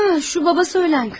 Hə, şu atası ölən qız.